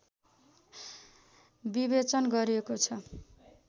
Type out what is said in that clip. विवेचन गरिएकोछ